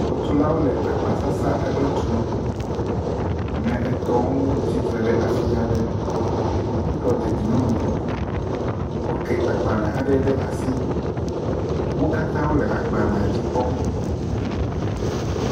Xɔtulawo le agbasasa aɖe tum. Ame etɔ̃wo tsi tre ɖe afi aɖe. Woɖɔ dedienɔnɔ kuku. Woke agbalẽ aɖe ɖe asi. Wo katã wole agbalẽa dzi kpɔm.